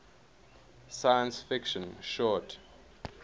science fiction short